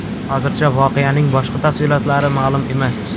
Hozircha voqeaning boshqa tafsilotlari ma’lum emas.